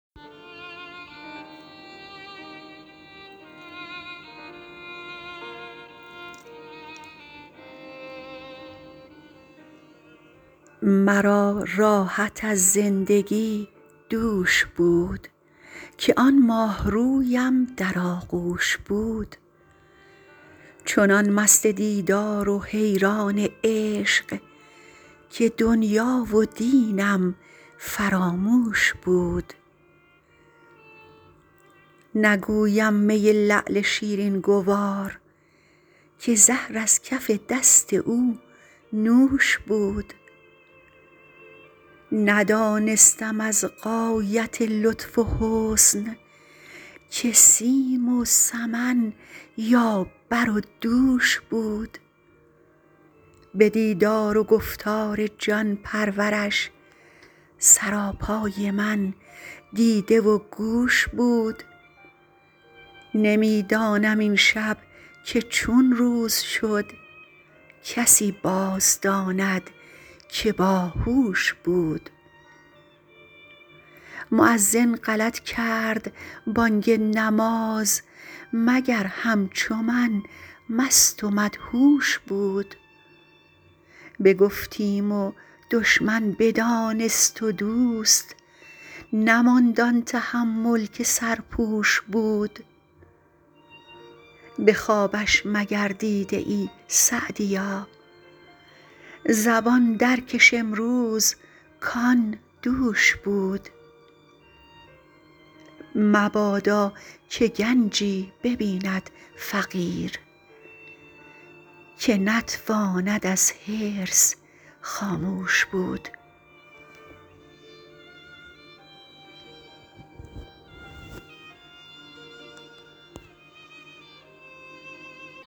مرا راحت از زندگی دوش بود که آن ماهرویم در آغوش بود چنان مست دیدار و حیران عشق که دنیا و دینم فراموش بود نگویم می لعل شیرین گوار که زهر از کف دست او نوش بود ندانستم از غایت لطف و حسن که سیم و سمن یا بر و دوش بود به دیدار و گفتار جان پرورش سراپای من دیده و گوش بود نمی دانم این شب که چون روز شد کسی باز داند که با هوش بود مؤذن غلط کرد بانگ نماز مگر همچو من مست و مدهوش بود بگفتیم و دشمن بدانست و دوست نماند آن تحمل که سرپوش بود به خوابش مگر دیده ای سعدیا زبان در کش امروز کآن دوش بود مبادا که گنجی ببیند فقیر که نتواند از حرص خاموش بود